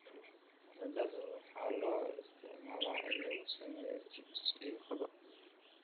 Baradhada waxaa loo isticmaalaa in lagu sameeyo chips iyo qado.